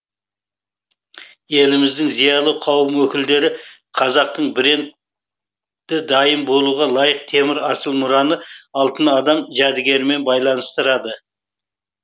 еліміздің зиялы қауым өкілдері қазақтың бренд дайын болуға лайық темір асыл мұраны алтын адам жәдігерімен байланыстырады